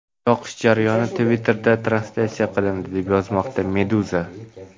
Yoqish jarayoni Twitter’da translyatsiya qilindi, deb yozmoqda Meduza.